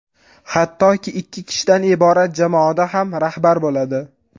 Hattoki, ikki kishidan iborat jamoada ham rahbar bo‘ladi.